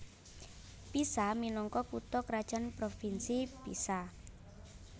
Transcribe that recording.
Pisa minangka kutha krajan Provinsi Pisa